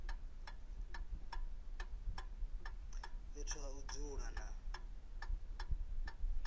fhethu ha u dzula na